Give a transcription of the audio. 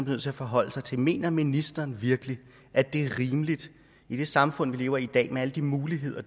nødt til at forholde sig til mener ministeren virkelig at det er rimeligt i det samfund vi lever i i dag med alle de muligheder